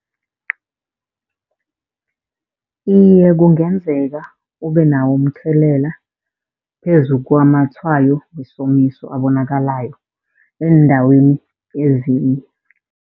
Iye, kungenzeka ubenawo umthelela phezu kwamatshwayo wesomiso abonakalako eendaweni ezinye.